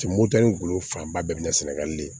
Cɛ moto ni golo fanba bɛɛ binna sɛnɛgali de ye